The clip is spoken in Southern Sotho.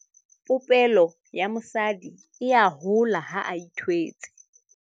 popelo ya mosadi e a hola ha a ithwetse